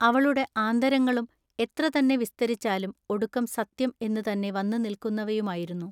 അവളുടെ ആന്തരങ്ങളും എത്ര തന്നെ വിസ്തരിച്ചാലും ഒടുക്കം സത്യം എന്നു തന്നെ വന്നു നിൽക്കുന്നവയുമായിരുന്നു.